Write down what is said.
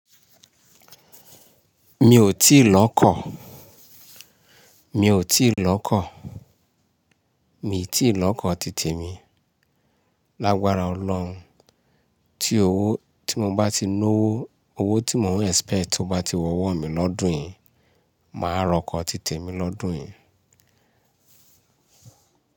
Mi ò tíì lọ kọ́, mi ò tí ì lọ kọ́, mi ò tí ì lọ kọ́ títè mi. Lágbára Ọlọ́run, tí owó tí mo bá ti ná owó, owó tí mò ń expect tó bá ti wọ́wọ́ mi lọ́dùn yi, màá rọkọ títè mi lọ́dùn yi.